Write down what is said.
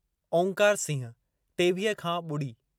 ओंकार सिंह (टेवीह खां ॿुड़ी)